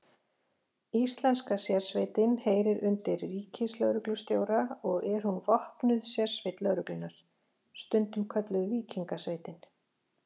Íslenska sérsveitin heyrir undir ríkislögreglustjóra og er hún vopnuð sérsveit lögreglunnar, stundum kölluð Víkingasveitin.